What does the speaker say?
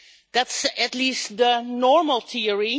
That is, at least, the normal theory.